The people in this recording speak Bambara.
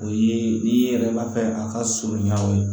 O ye n'i yɛrɛ b'a fɛ a ka surunya